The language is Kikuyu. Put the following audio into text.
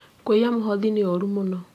Kũiya mũhothi nĩ ũũru mũno